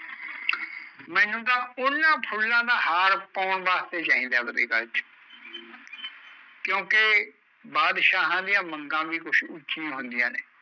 ਮੈਂਨੂੰ ਤਾਂ ਉਹਨਾਂ ਫੁੱਲਾਂ ਦਾ ਹਾਰ ਪਾਉਣ ਵਾਸਤੇ ਚਾਹੀਦਾ ਐ ਆਵਦੇ ਗਲ਼ ਚ ਕਿਓਂਕਿ ਬਾਦਸ਼ਾਹਾਂ ਦੀਆਂ ਮੰਗਾਂ ਵੀ ਕੁਸ਼ ਉੱਚੀਆ ਹੁੰਦੀਆ ਨੇ